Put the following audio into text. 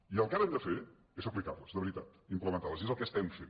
i el que ara hem de fer és aplicar·les de veritat implemen·tar·les i és el que estem fent